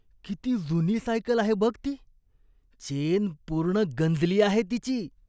किती जुनी सायकल आहे बघ ती, चेन पूर्ण गंजली आहे तिची.